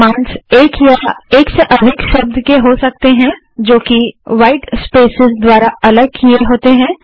commands एक या एक से अधिक शब्द के हो सकते हैं जो कि ह्वाइट स्पेसेस द्वारा अलग किए होते हैं